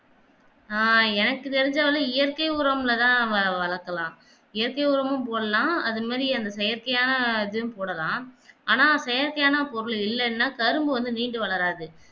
ஆஹ் எனக்கு தெரிஞ்சளவு இயற்கை உரம் ல தான் வ வளக்கலாம் இயற்கை உரமும் போடலாம் அது முன்னாடி அந்த செயற்கையானதும் போடலாம் ஆனா செயற்கையான பொருள் இல்லேனா கரும்பு வந்து நீண்டு வளராது